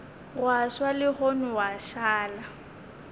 gwa swa legong gwa šala